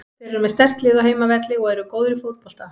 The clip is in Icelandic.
Þeir eru með sterkt lið á heimavelli og eru góðir í fótbolta.